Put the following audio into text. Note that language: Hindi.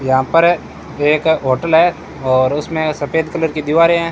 यहां पर एक होटल है और उसमें सफेद कलर की दीवारें हैं।